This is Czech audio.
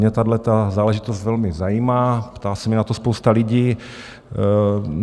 Mě tahleta záležitost velmi zajímá, ptá se mě na to spousta lidí.